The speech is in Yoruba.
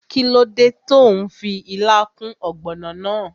Kíló dé tó n fi ilá kún ògbònò náà?